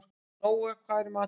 Nóa, hvað er í matinn?